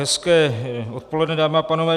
Hezké odpoledne, dámy a pánové.